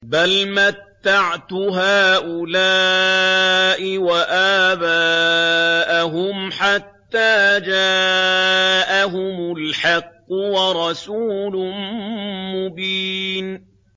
بَلْ مَتَّعْتُ هَٰؤُلَاءِ وَآبَاءَهُمْ حَتَّىٰ جَاءَهُمُ الْحَقُّ وَرَسُولٌ مُّبِينٌ